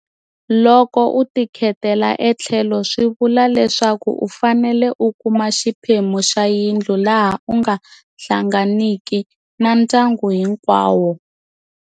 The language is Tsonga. Loko u tikhetela etlhelo swi vula leswaku u fanele u kuma xiphemu xa yindlu laha u nga hlanganiki na ndyangu hinkwawo.